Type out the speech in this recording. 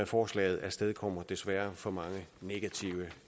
forslaget afstedkommer desværre for mange negative